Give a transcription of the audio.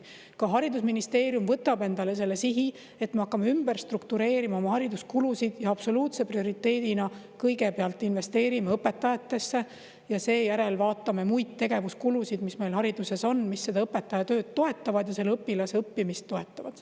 Ka haridusministeerium võtab endale selle sihi, et me hakkame oma hariduskulusid ümber struktureerima ja absoluutse prioriteedina kõigepealt investeerime õpetajatesse ja seejärel vaatame muid tegevuskulusid, mis meil hariduses on, mis õpetaja tööd toetavad ja õpilase õppimist toetavad.